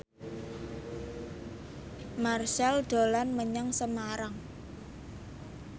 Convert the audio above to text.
Marchell dolan menyang Semarang